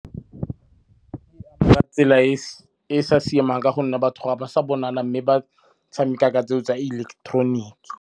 Ka tsela e sa siamang ka gonne batho ga ba sa bonala mme ba tshameka ka tseo tsa ileketeroniki.